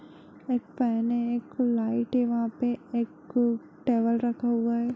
एक फैन है एक लाईट है वहा पर एक टेबल रखा हुआ है।